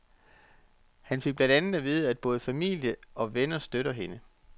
Han fik blandt andet at vide, at både familie og venner støtter hende.